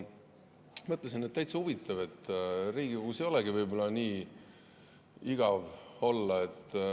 Mõtlesin, et täitsa huvitav, Riigikogus ei olegi võib-olla nii igav olla.